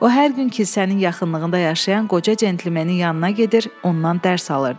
O hər gün kilsənin yaxınlığında yaşayan qoca centlemenin yanına gedir, ondan dərs alırdı.